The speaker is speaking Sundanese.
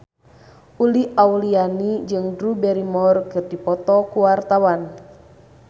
Uli Auliani jeung Drew Barrymore keur dipoto ku wartawan